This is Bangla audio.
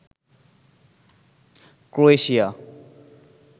ক্রোয়েশিয়া